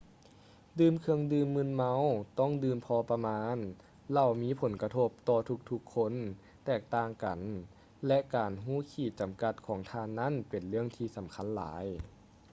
ດື່ມເຄື່ອງດື່ມມຶນເມົາຕ້ອງດື່ມພໍປະມານ ເຫຼົ້າມີຜົນກະທົບຕໍ່ທຸກໆຄົນແຕກຕ່າງກັນ ແລະ ການຮູ້ຂີດຈຳກັດຂອງທ່ານນັ້ນເປັນເລື່ອງສຳຄັນຫຼາຍ